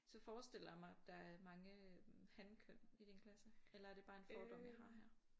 Så forestiller jeg mig at der er mange hankøn i din klasse eller er det bare en fordom jeg har her